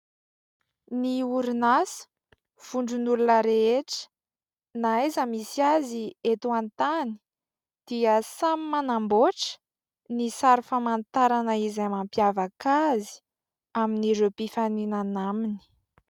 Ny orinasa vondron'olona rehetra, na aiza misy azy eto an-tany dia samy manamboatra ny sary famantarana izay mampiavaka azy amin'ireo mpifaninana aminy.